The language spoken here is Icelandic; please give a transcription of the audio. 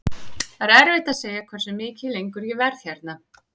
Það er erfitt að segja hversu mikið lengur ég verð hérna.